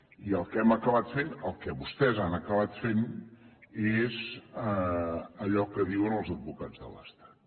i el que hem acabat fent el que vostès han acabat fent és allò que diuen els advocats de l’estat